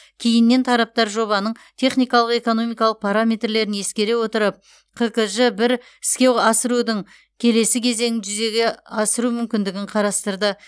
кейіннен тараптар жобаның техникалық экономикалық параметрлерін ескере отырып қкж бір іске асырудың келесі кезеңін жүзеге асыру мүмкіндігін қарастырды